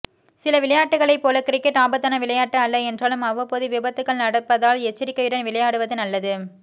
சில விளையாட்டுக்களைப் போல கிரிக்கெட் ஆபத்தான விளையாட்டு அல்ல என்றாலும் அவ்வப்போது விபத்துகள் நடப்பதால் எச்சரிக்கையுடன் விளையாடுவது நல்லது